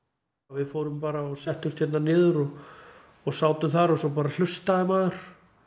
við fórum bara og settumst hérna niður og sátum þar og svo bara hlustaði maður